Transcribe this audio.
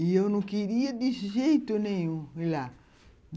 E eu não queria de jeito nenhum ir lá.